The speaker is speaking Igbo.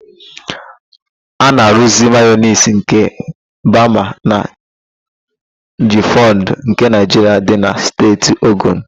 A na-aruuzi mayonis nke bama na jibifuuds nke Naịjiria dị na Steeti Ogun.